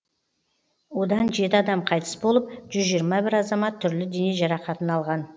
одан жеті адам қайтыс болып жүз жиырма бір азамат түрлі дене жарақатын алған